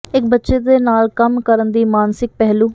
ਇੱਕ ਬੱਚੇ ਦੇ ਨਾਲ ਕੰਮ ਕਰਨ ਦੀ ਮਾਨਸਿਕ ਪਹਿਲੂ